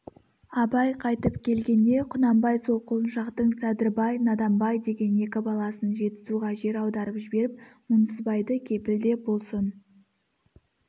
абай қайтып келгенде құнанбай сол құлыншақтың садырбай наданбай деген екі баласын жетісуға жер аударып жіберіп мұңсызбайды кепілде болсын